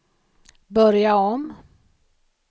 börja om